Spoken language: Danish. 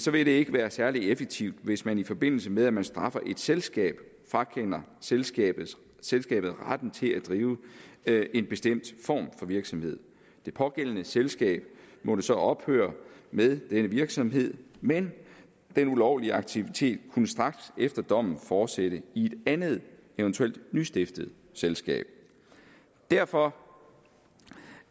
vil det ikke være særlig effektivt hvis man i forbindelse med at man straffer et selskab frakender selskabet selskabet retten til at drive en bestemt form for virksomhed det pågældende selskab måtte så ophøre med denne virksomhed men den ulovlige aktivitet kunne straks efter dommen fortsætte i et andet eventuelt nystiftet selskab derfor